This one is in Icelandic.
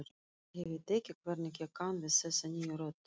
Ég veit ekki hvernig ég kann við þessa nýju rödd.